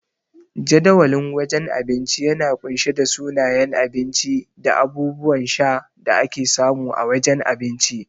Jadawalin wajen abinci yana kunshe da sunayen abinci da abubuwan sha da ake samu a wajen abinci.